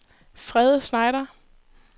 Frede Schneider